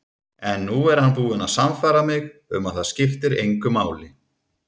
En nú er hann búinn að sannfæra mig um að það skiptir engu máli.